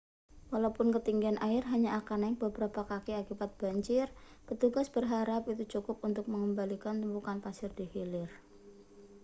walaupun ketinggian air hanya akan naik beberapa kaki akibat banjir petugas berharap itu cukup untuk mengembalikan tumpukan pasir di hilir